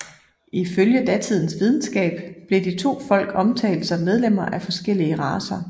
Ifølge datidens videnskab blev de to folk omtalt som medlemmer af forskellige racer